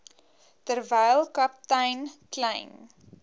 terwyl kaptein kleyn